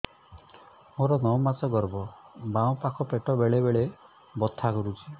ମୋର ନଅ ମାସ ଗର୍ଭ ବାମ ପାଖ ପେଟ ବେଳେ ବେଳେ ବଥା କରୁଛି